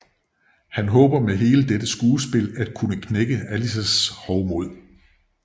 Han håber med hele dette skuespil at kunne knække Alices hovmod